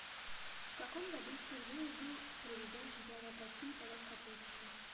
в каком году впервые был проведен чемпионат россии по легкой атлетике